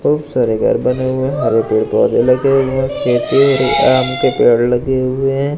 खूब सारे घर बने हुए हैं हरे पेड़ पौधे लगे हुए हैं खेती और आम के पेड़ लगे हुए हैं।